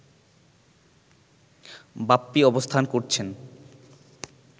বাপ্পী অবস্থান করছেন